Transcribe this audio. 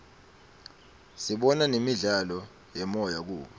sibona nemidlalo yemoya kubo